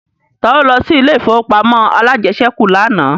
Ta ló lọ sí ilé ìfowópamọ́ alájẹsẹ́kù lánàá